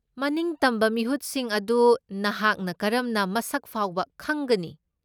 ꯃꯅꯤꯡꯇꯝꯕ ꯃꯤꯍꯨꯠꯁꯤꯡ ꯑꯗꯨ ꯅꯍꯥꯛꯅ ꯀꯔꯝꯅ ꯃꯁꯛ ꯐꯥꯎꯕ ꯈꯪꯒꯅꯤ?